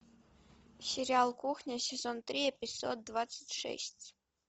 сериал кухня сезон три эпизод двадцать шесть